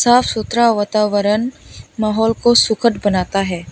साफ सुथरा वातावरण माहौल को सुखद बनता है।